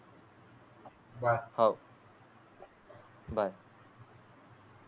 bye हो bye